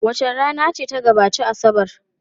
Wace rana ce ta gabaci Asabar?